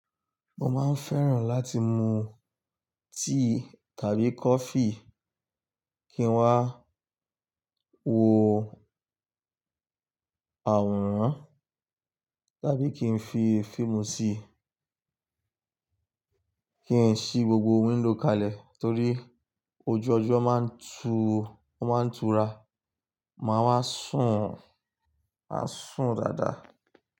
Mo máa ń fẹ́ràn láti mu tíì tàbí coffee kí n wá wo àwòrán tàbí kí n fi fíìmù sí i. Kí ń ṣí gbogbo window kalẹ̀ torí ojú ọjọ́ máa ń tu, ó máa ń tura. Máa wá sùn, maa sùn dáadáa.